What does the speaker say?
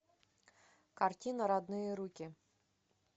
картина родные руки